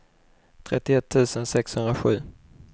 trettioett tusen sexhundrasju